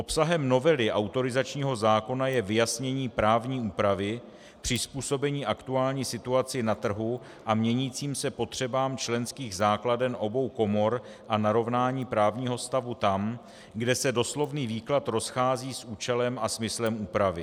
Obsahem novely autorizačního zákona je vyjasnění právní úpravy, přizpůsobení aktuální situaci na trhu a měnícím se potřebám členských základen obou komor a narovnání právního stavu tam, kde se doslovný výklad rozchází s účelem a smyslem úpravy.